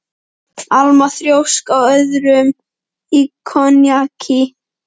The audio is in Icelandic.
Alma þrjósk á öðrum í konjaki.